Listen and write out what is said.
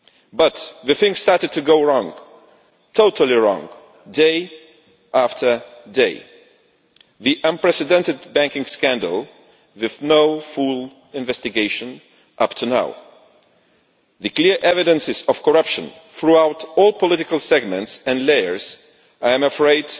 But things started to go wrong totally wrong day after day, with the unprecedented banking scandal with no full investigation until now and the clear evidence of corruption throughout all political segments and layers with, I am afraid,